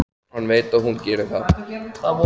Hann veit að hún gerir það.